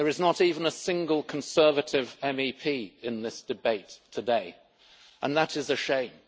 There is not even a single Conservative MEP in this debate today, and that is a shame.